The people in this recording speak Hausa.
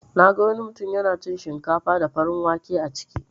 Naga wani mutun yana cin shinkafa da farin wake a ciki.